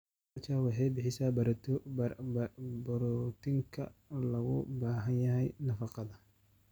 Aquaculture waxay bixisaa borotiinka looga baahan yahay nafaqada.